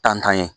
Tantan ye